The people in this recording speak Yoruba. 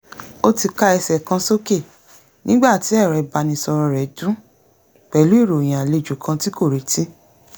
ó ti ká ẹsẹ̀ kan sókè nígbà tí ẹ̀rọ ìbánisọ̀rọ̀ rẹ̀ dún pẹ̀lú ìròyìn àlejò kan tí kò retí